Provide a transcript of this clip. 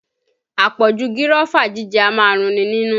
Àpọ̀jù gírọ́fà jíjẹ a máa run ni nínú